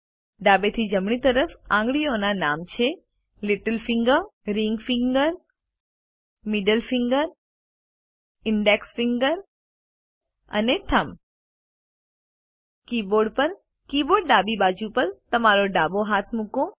ડાબેથી જમણી તરફ આંગળીઓના નામ છે little finger ring finger middle finger index finger અને થમ્બ કીબોર્ડ પર કીબોર્ડ ડાબી બાજુ પર તમારો ડાબા હાથમાં મૂકો